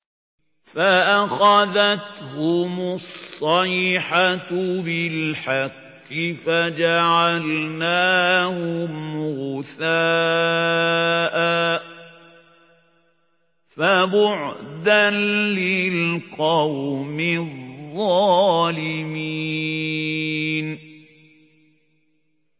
فَأَخَذَتْهُمُ الصَّيْحَةُ بِالْحَقِّ فَجَعَلْنَاهُمْ غُثَاءً ۚ فَبُعْدًا لِّلْقَوْمِ الظَّالِمِينَ